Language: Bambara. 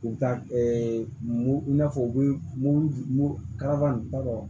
U ka mugu i n'a fɔ u bɛ mugu kalama